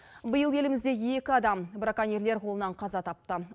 биыл елімізде екі адам браконьерлер қолынан қаза тапты